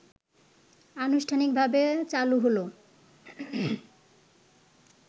আনুষ্ঠানিকভাবে চালু হল